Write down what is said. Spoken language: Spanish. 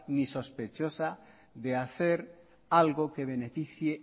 ni sospechosa de hacer algo que beneficie